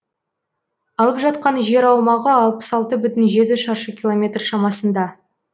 алып жатқан жер аумағы алпыс алты бүтін жеті шаршы километр шамасында